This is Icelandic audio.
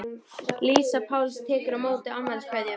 Lísa Páls tekur á móti afmæliskveðjum.